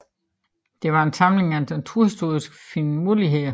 Det var en samling af naturhistoriske finurligheder